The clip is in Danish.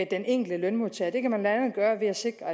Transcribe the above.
den enkelte lønmodtager det kan man blandt andet gøre ved at sikre